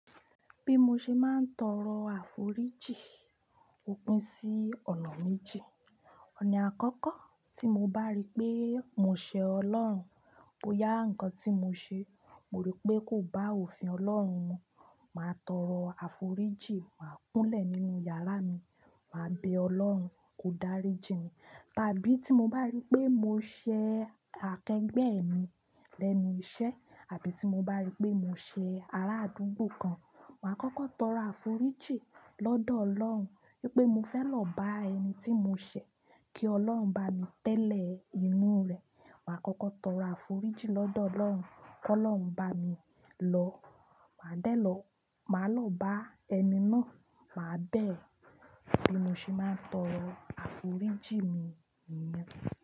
Bí mo ṣe máa ń tọrọ àforíjì ó pin sí ọ̀nà méji. Ọ̀nà àkọ́kọ́ tí mo bá rí pé mo ṣẹ Ọlọ́run, bó yá ǹnkan tí mo ṣe, mo rí pé kò bá òfin Ọlọ́run mu, màá tọrọ àforíjìn, màá kúnlẹ̀ nínú yàrá mi, màá bẹ Ọlọ́run kó dáríjìn mi. Tàbí tí mo bá rí pé mo ṣẹ akẹgbẹ́ mi lẹ́nu iṣẹ́ àbí tí mo bá rí pé mo ṣẹ aráadúgbò kan, màá kọ́kọ́ tọrọ àforíjìn lọ́dọ̀ Ọlọ́run pé mo fẹ́ lọ bá ẹni tí mo ṣẹ kí Ọlọ́run bá mi tẹ́lẹ̀ inú rẹ̀. Màá kọ́kọ́ tọrọ àforíjìn lọ́dọ̀ Ọlọ́run ki Ọlọ́run bá mi lọ. Màá dẹ́ lọ, màá lọ bá ẹni náà, màá bẹ̀ ẹ́. Bí mo ṣe máa ń tọrọ àforíjì mi nìyẹn.